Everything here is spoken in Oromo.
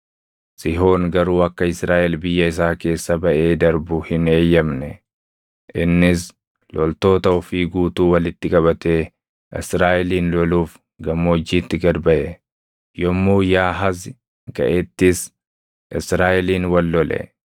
Sihoon garuu akka Israaʼel biyya isaa keessa baʼee darbu hin eeyyamne. Innis loltoota ofii guutuu walitti qabatee Israaʼelin loluuf gammoojjiitti gad baʼe. Yommuu Yaahazi gaʼettis Israaʼeliin wal lole.